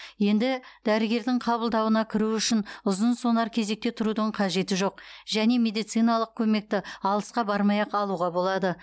енді дәрігердің қабылдауына кіру үшін ұзын сонар кезекте тұрудың қажеті жоқ және медициналық көмекті алысқа бармай ақ алуға болады